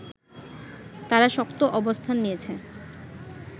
তারা শক্ত অবস্থান নিয়েছে